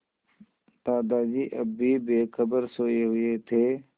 दादाजी अब भी बेखबर सोये हुए थे